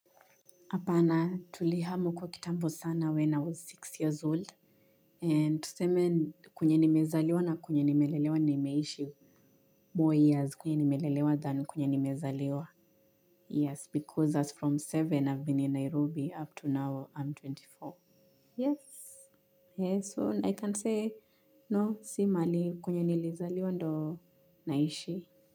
Apana, tulihama uko kitambo sana when I was six years old. And tuseme kwenye nimezaliwa na kwenye nimelelewa nimeishi. More years kwenye nimelelewa than kwenye nimezaliwa. Yes, because as from seven, I've been in Nairobi up to now, I'm ishirini na nne. Yes, yes, so I can say, no, simahali kwenye nilizaliwa ndo naishi.